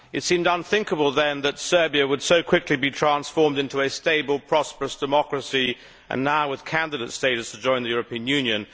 It seemed unthinkable then that Serbia would so quickly be transformed into a stable, prosperous democracy, now with candidate status to join the European Union.